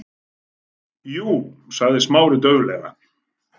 Jú- sagði Smári dauflega.